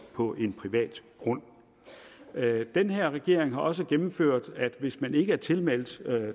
på en privat grund den her regering har også gennemført at hvis man ikke er tilmeldt